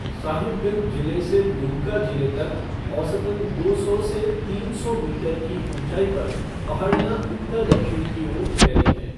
साहिबगंज जिले से दुमका जिले तक औसतन दो सौ से तीन सौ मीटर की ऊँचाई पर पहाड़ियाँ उत्तर दक्षिण की ओर फैली हैं।